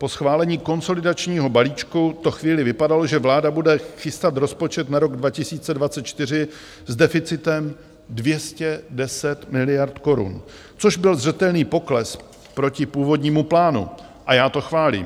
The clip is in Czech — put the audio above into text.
Po schválení konsolidačního balíčku to chvíli vypadalo, že vláda bude chystat rozpočet na rok 2024 s deficitem 210 miliard korun, což byl zřetelný pokles proti původnímu plánu, a já to chválím.